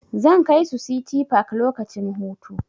Zan kai su City park lokacin hutu.